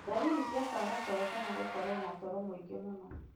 ndariri cia kwaga toro kana gũkorwo na toro mũingĩ mũno.